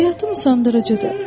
Həyatım usandırıcıdır.